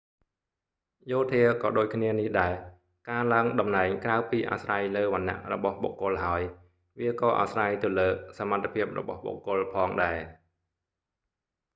យោធាក៏ដូចគ្នានេះដែរ ការឡើងតំណែងក្រៅពីអាស្រ័យលើវណ្ណៈរបស់បុគ្គលហើយ វាក៏អាស្រ័យទៅលើសមត្ថភាពរបស់បុគ្គលផងដែរ